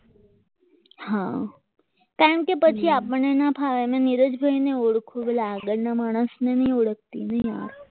હા કારણ કે પછી આપણને ના ફાવે અને નીરજભાઈ ને ઓળખો પેલા આગળના માણસને નથી ઓળખતી ને યાર